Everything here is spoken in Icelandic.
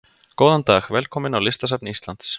Góðan dag. Velkomin á Listasafn Íslands.